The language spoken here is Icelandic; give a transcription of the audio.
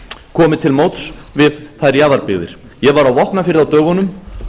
komi til móts við þær jaðarbyggðir ég var á vopnafirði á dögunum